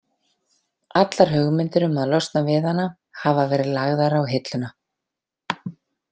Allar hugmyndir um að losna við hana hafa verið lagðar á hilluna.